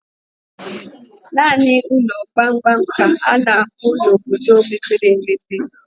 Naanị ụlọ gbamgbam ka a na-ahụ n' obodo mepere emepe.